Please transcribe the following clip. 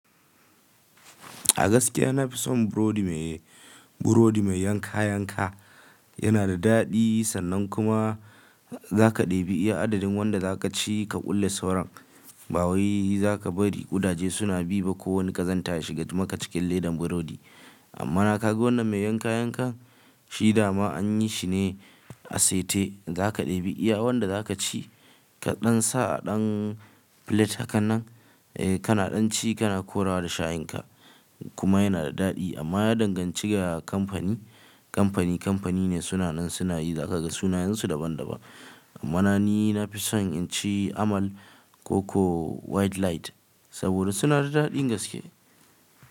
A gaskiya na fi son burodi mai, burodi mai yanka yanka. Yana da daɗi sannan kuma za ka ɗebi iya adadin wanda za ka ci ka kulle sauran. Ba wai za ka bari ƙudaje suna bi ba. Ko wani ka zanta ya shiga maka cikin ledan burodi. Amma na kaga wannan mai yanka yankan shida ma an yi shi ne asete. Za ka ɗebi iya wanda za ka ci ka ɗan sa a ɗan pilet hakanan, eh kana ɗan ci kana korawa da shayin ka kuma yana da daɗi. Amma ya danganci ga kamfani. Kamfani kamfani ne sunan sunayi. Za ka ga sunayensu daban daban. Amma na ni na fi son in ci amal, koko wide light saboda suna da daɗi gaske.